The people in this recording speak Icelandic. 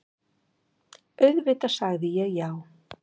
Auðvitað sagði ég já.